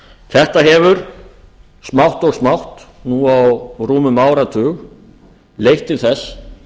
þetta hefur smátt og smátt nú á rúmum áratug leitt til þess